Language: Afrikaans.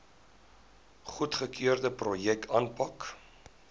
goedgekeurde projekte aanpak